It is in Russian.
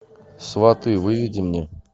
сваты выведи мне